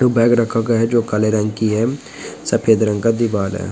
दो बैग रखा गया है जो काले रंग की है सफ़ेद रंग का दीवाल हैं।